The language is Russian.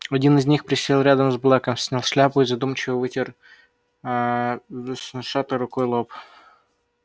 один из них присел рядом с блэком снял шляпу и задумчиво вытер аа веснушчатой рукой лоб